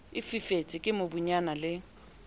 e fifetse ke mobunyana le